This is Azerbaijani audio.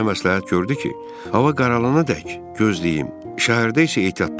O mənə məsləhət gördü ki, hava qaralana dək gözləyim, şəhərdə isə ehtiyatlı olum.